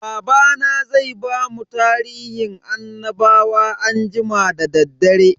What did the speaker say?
Babana zai bamu tarihin annabawa anjima da daddare.